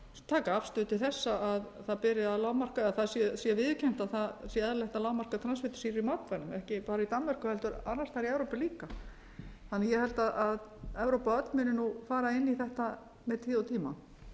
taka afstöðu til þess að það sé viðurkennt að eðlilegt sé að lágmarka transfitusýru í matvælum ekki bara í danmörku heldur annars staðar í evrópu líka ég held að evrópa öll muni fara inn í þetta